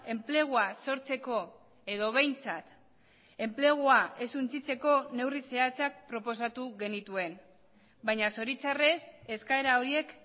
enplegua sortzeko edo behintzat enplegua ez suntsitzeko neurri zehatzak proposatu genituen baina zoritxarrez eskaera horiek